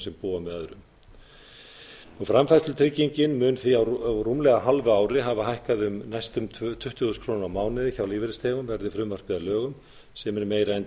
sem búa með öðrum framfærslutryggingin mun því á rúmlega hálfu ári hafa hækkað um næstum tuttugu þúsund krónur á mánuði hjá lífeyrisþegum verði frumvarpið að lögum sem er meira en